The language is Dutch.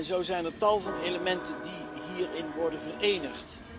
En zo zijn er tal van elementen die hierin worden verenigd.